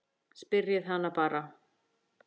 Spyrjið hana bara.